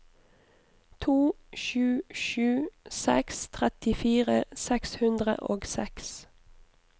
to sju sju seks trettifire seks hundre og seks